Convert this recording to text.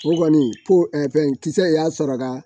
O kɔni ko fɛn kisɛ y'a sɔrɔ ka